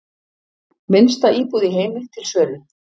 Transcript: Minnsta íbúð í heimi til sölu